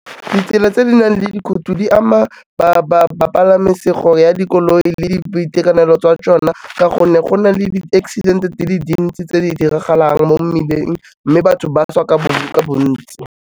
Ditsela tse di nang le dikhuti di ama bapalami ya dikoloi le boitekanelo jwa tsona ka gonne go na le di-accident-e dile dintsi tse di diragalang mo mmileng mme batho ba swa ka bontsi.